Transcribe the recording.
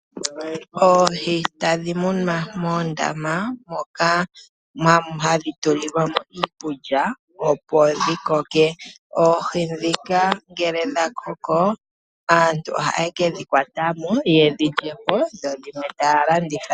Oohi ohadhi munwa moondama, moka hadhi tuli lwamo iikulya opo dhi koke. Oohi ndhika ngele dha koko, aantu ohaye kedhi kwatamo opo yedhi lyepo dho dhimwe talanditha.